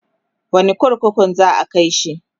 wani kurkukun za'a kaishi?